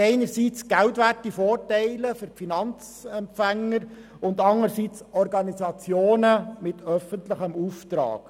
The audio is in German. einerseits geldwerte Vorteile für die Finanzempfänger und andererseits Organisationen mit öffentlichem Auftrag.